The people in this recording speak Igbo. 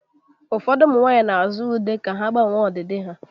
Ụfọdụ ụmụ nwanyị na-azụta ude ka ha gbanwee ọdịdị ha